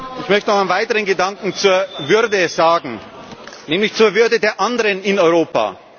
Ich möchte noch einen weiteren Gedanken zur Würde sagen, nämlich zur Würde der anderen in Europa.